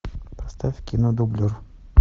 поставь кино дублер